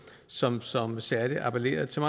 som som særlig appellerer til